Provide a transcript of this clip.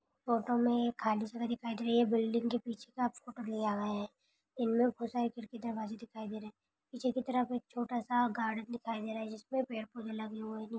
Photo में खाली जगह दिखाई दे रही हैं बिल्डिंग के पीछे का फोटो लिया गया हैं इनमे बहुत सारि खिड़की दरवाजे दिखाई दे रहे पीछे की तरफ छोटासा गार्डन दिखाई दे रहा जिसमें पेड़ पौधे लगे हुए हैं।